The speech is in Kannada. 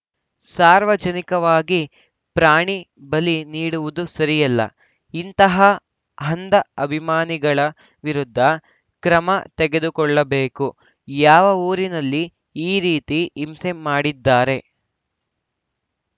ಸಾರ್ವಜನಿಕವಾಗಿ ಪ್ರಾಣಿ ಬಲಿ ನೀಡುವುದು ಸರಿಯಲ್ಲ ಇಂತಹ ಅಂಧ ಅಭಿಮಾನಿಗಳ ವಿರುದ್ಧ ಕ್ರಮ ತೆಗೆದುಕೊಳ್ಳಬೇಕು ಯಾವ ಊರಿನಲ್ಲಿ ಈ ರೀತಿ ಹಿಂಸೆ ಮಾಡಿದ್ದಾರೆ